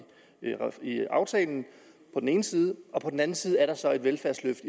aftalen på den ene side og på den anden side er der så et velfærdsløft